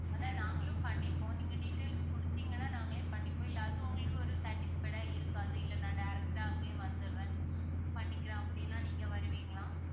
அதான் நாங்களும் பண்ணிப்போம். நீங்க details குடுத்தீங்கன்னா நாங்களே பண்ணிப்போம், இல்ல அது உங்களுக்கு ஒரு satisfied ஆ இருக்காது இல்ல நான் direct ஆ அங்கேயே வந்துடுறேன் பண்ணிக்கிறேன் அப்படின்னா நீங்க வருவீங்களா?